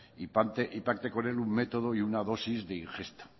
y parte con el un método y una dosis de ingesta